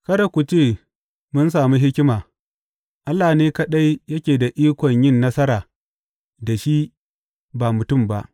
Kada ku ce, Mun sami hikima; Allah ne kaɗai yake da ikon yin nasara da shi ba mutum ba.’